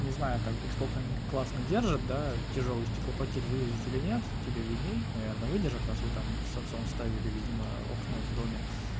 не знаю как бы столько они классно держат да тяжёлый стеклопакет вывезут или нет тебе видней наверное выдержат раз вы там с отцом ставили видимо окна в доме